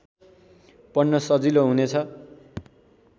पढ्न सजिलो हुनेछ